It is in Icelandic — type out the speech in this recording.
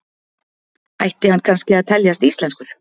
Ætti hann kannski að teljast íslenskur?